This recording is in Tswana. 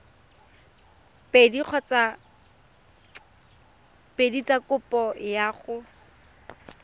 pedi tsa kopo ya go